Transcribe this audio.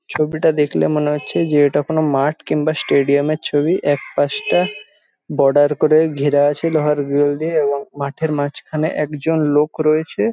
ছবিটা দেখলে মনে হচ্ছে যে এটা কোন মাঠ কিংবা স্টেডিয়াম এর ছবি এক পাশটা বর্ডার করে ঘেরা আছে লোহার গ্রিল দিয়ে এবং মাঠের মাঝখানে একজন লোক রয়েছে --